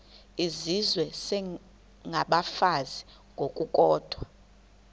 izizwe isengabafazi ngokukodwa